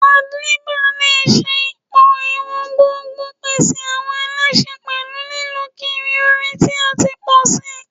Handlebars le ṣe pọ-iwọn gbogbn, pese awọn ẹlẹṣin pẹlu lilọ kiri orin ti a ti pọ si